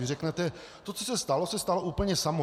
Vy řeknete to, co se stalo, se stalo úplně samo.